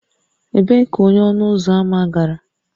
Ebee ka onye ọnụ ụzọ ámá gara?